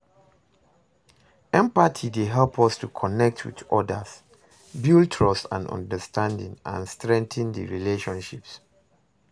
Empathy dey help us to connect with odas, build trust and understanding, and strengthen di relationships.